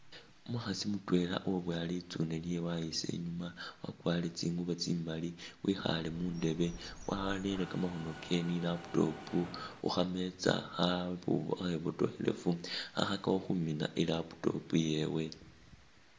Umukhasi mutwela uwaboya litsune lyewe wayisa inyuma, wakwarire tsingubo tsimali, wekhaale mu ndeebe warere kamakhono kewe ni i'laptop khu khameza khabu khabotokhelefu khakhakakho khumina i'laptop yewe.